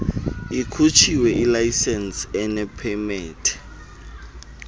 ikhutshiwe ilayisensi enepemethe